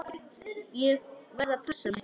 Ég verð að passa mig.